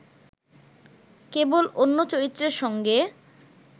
কেবল অন্য চরিত্রের সঙ্গে